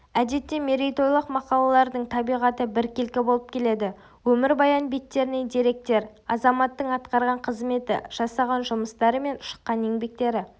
әдетте мерейтойлық мақалалардың табиғаты біркелкі болып келеді өмірбаян беттерінен деректер азаматтың атқарған қызметі жасаған жұмыстары мен шыққан еңбектері